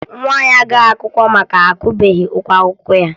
Nwa ya agaghị akwụkwọ maka na akwụbeghi ụgwọ akwụkwọ ya